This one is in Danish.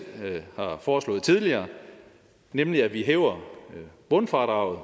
har foreslået tidligere nemlig at vi hæver bundfradraget